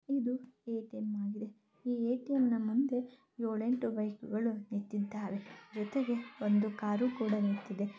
ಇದು A T M ಆಗಿದೆ ಈ ಎ ಟಿ ಎಂ ನ ಮುಂದೆ ಏಳೆಂಟು ಬೈಕ್ಗಳು ನಿಂತಿದ್ದಾವೆ ಜೊತೆಗೆ ಒಂದು ಕಾರು ಕೂಡ ನಿಂತಿದೆ .